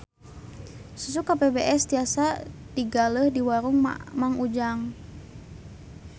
Susu KPBS tiasa digaleh di warung Mang Ujang